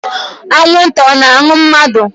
Anwụnta ọ na-aṅụ mmadu?